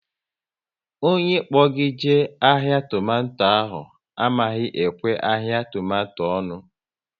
Onye kpo gị jee ahịa tomato ahụ amaghị ekwe ahịa tomato onu